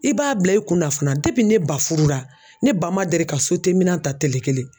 I b'a bila i kunna fana ne ba furu la ne ba man deli ka minan ta tele kelen.